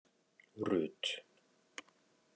Rut